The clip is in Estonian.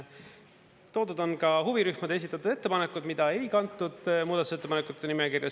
Toodud on ka huvirühmade esitatud ettepanekud, mida ei kantud muudatusettepanekute nimekirja.